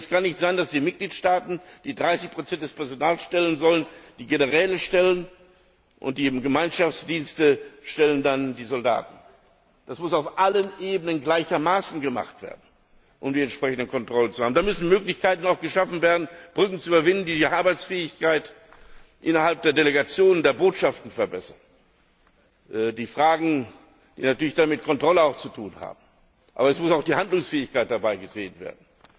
Es kann nicht sein, dass die Mitgliedstaaten, die 30 des Personals stellen sollen, die Generäle stellen, und die Gemeinschaftsdienste stellen dann die Soldaten. Das muss auf allen Ebenen gleichermaßen gemacht werden, um die entsprechenden Kontrollen zu haben. Da müssen auch Möglichkeiten geschaffen werden, Brücken zu überwinden, die die Arbeitsfähigkeit innerhalb der Delegationen, der Botschaften verbessern Fragen, die dann natürlich auch mit Kontrolle zu tun haben. Aber es muss auch die Handlungsfähigkeit dabei gesehen werden.